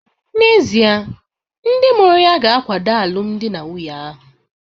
N'ezie, ndị mụrụ ya ga-akwado alụmdi na nwunye ahụ?